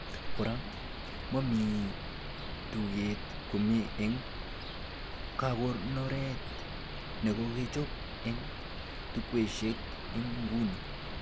Kora, mamite takuget komie eng kakonoret nekokechob eng chukwaishek en nguni